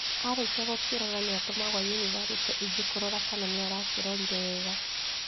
Arikia gukirora gigatumwo yunibathĩtĩ ingi kurora kana nĩarakĩrorire wega